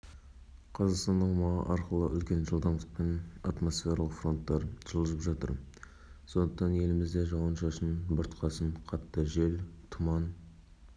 аса қазақстандық компания оқудан өтіп халықаралық стандарттар бойынша сертификатталды осы жылдар ішінде төмендегілер салынды медициналық мекеме